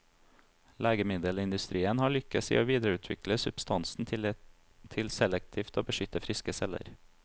Legemiddelindustrien har lykkes i å videreutvikle substansen til selektivt å beskytte friske celler.